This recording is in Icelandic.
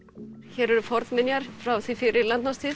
hér eru fornminjar frá því fyrir landnám